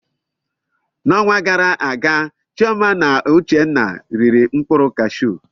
N'ọnwa gara aga, Chioma na Uchenna riri mkpụrụ kashu.